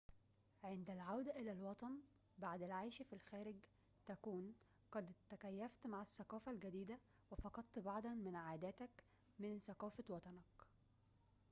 عند العودة إلى الوطن بعد العيش في الخارج تكون قد تكيفت مع الثقافة الجديدة وفقدت بعضاً من عاداتك من ثقافة وطنك